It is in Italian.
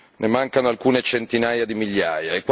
ne mancano alcune centinaia di migliaia.